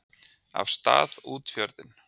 af stað út fjörðinn.